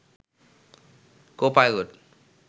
কো pilot